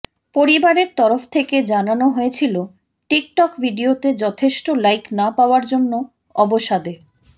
পরিবারের তরফ থেকে জানানো হয়েছিল টিকটক ভিডিওতে যথেষ্ট লাইক না পাওয়ার জন্য অবসাদে